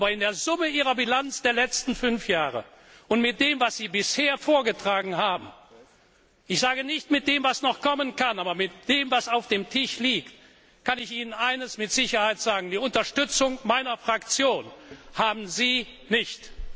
ist. Aber in der Summe Ihrer Bilanz der letzten fünf Jahre und mit dem, was Sie bisher vorgetragen haben ich sage nicht, mit dem, was noch kommen kann, sondern mit dem, was auf dem Tisch liegt kann ich Ihnen eines mit Sicherheit sagen Die Unterstützung meiner Fraktion haben Sie